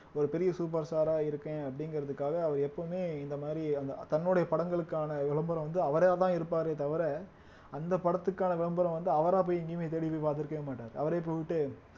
ஒரு பெரிய super star ஆ இருக்கேன் அப்படிங்கறதுக்காக அவர் எப்பவுமே இந்த மாதிரி அந்த தன்னுடைய படங்களுக்கான விளம்பரம் வந்து அவராதான் இருப்பாரே தவிர அந்த படத்துக்கான விளம்பரம் வந்து அவரா போய் எங்கேயுமே தேடி போய் பாத்திருக்கவே மாட்டாரு அவரே போயிட்டு